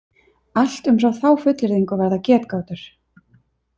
Allt umfram þá fullyrðingu verða getgátur.